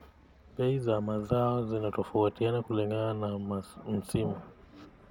Bei za mazao zinatofautiana kulingana na msimu.